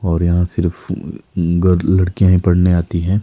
और यहाँ सिर्फ लड़कियां ही पढ़ने आती है।